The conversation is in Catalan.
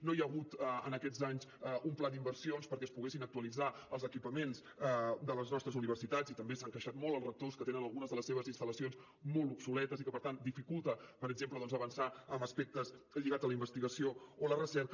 no hi ha hagut en aquests anys un pla d’inversions perquè es poguessin actualitzar els equipaments de les nostres universitats i també s’han queixat molt els rectors que tenen algunes de les seves instal·lacions molt obsoletes i que per tant dificulta per exemple avançar en aspectes lligats a la investigació o la recerca